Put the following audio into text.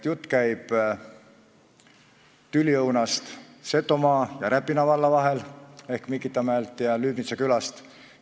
Jutt käib tüliõunast Setomaa ja Räpina valla vahel ehk Mikitamäest ja Lüübnitsa külast.